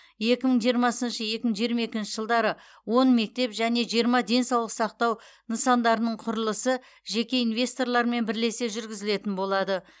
екі мың жиырмасыншы екі мың жиырма екінші жылдары он мектеп және жиырма денсаулық сақтау нысандарының құрылысы жеке инвесторлармен бірлесе жүргізілетін болады